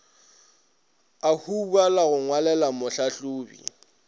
a hubala go ngwalelwa mohlahlobi